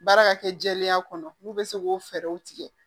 Baara ka kɛ jɛlenya kɔnɔ n'u bɛ se k'o fɛɛrɛw tigɛ